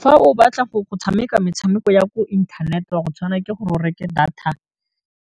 Fa o batla go tshameka metshameko ya ko inthanete wa go tshwana ke gore o reke data